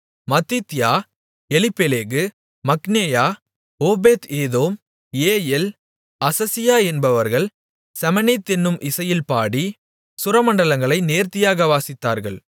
மத்தித்தியா Eliphelehu மிக்னேயா Obed edom Jeiel Azaziah என்பவர்கள் Sheminith என்னும் இசையில் பாடி சுரமண்டலங்களை நேர்த்தியாக வாசித்தார்கள்